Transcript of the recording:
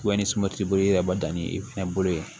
ni sɔ bolo yɛrɛ b'a dan ni i fɛnɛ bolo ye